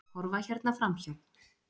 Horfa hérna framhjá!